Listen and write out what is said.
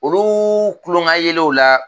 Olu tulonkayɛlɛw la